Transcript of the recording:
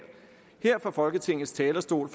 her fra folketingets talerstol